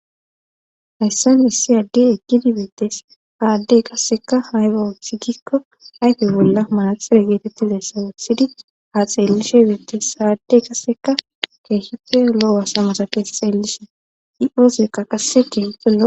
Hayssan issi addi eggidi biittes aaddey kasseka hayga wuthi gikko ayfey bolla manaxire geetetti leessa wussidi ha xeellishe beiettes saaddey kasseka keeshefe lo'owasamasa kees xeellishe i'oosekka qasse keexello.